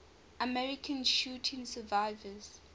american shooting survivors